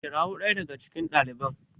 kirawon ɗaya daga cikon daliban